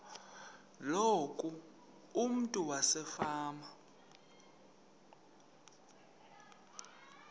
loku umntu wasefama